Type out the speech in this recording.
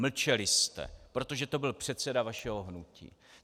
Mlčeli jste, protože to byl předseda vašeho hnutí!